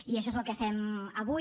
i això és el que fem avui